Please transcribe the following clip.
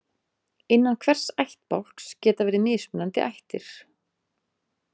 Innan hvers ættbálks geta verið mismunandi ættir.